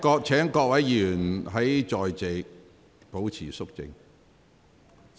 請各位議員在席上保持肅靜。